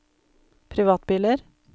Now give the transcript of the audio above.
privatbiler